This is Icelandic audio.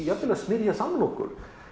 jafnvel að smyrja samlokur